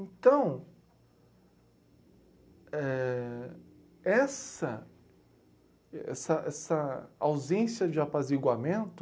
Então, éh... essa, essa essa ausência de apaziguamento...